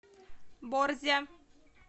борзя